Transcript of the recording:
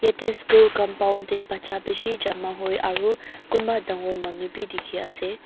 yadae school compound dae bacha bishi jama hoi aro kunba dangor manu bi diki asae.